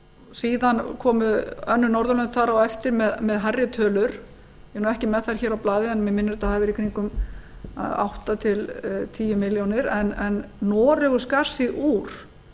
síðan komu önnur norðurlönd þar á eftir með hærri tölur ég er ekki með þær hér á blaði en mig minnir að þetta hafi verið í kringum átta til tíu milljónir en noregur skar sig úr